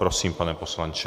Prosím, pane poslanče.